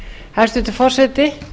hæstvirtur forseti